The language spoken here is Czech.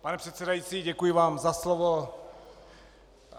Pane předsedající, děkuji vám za slovo.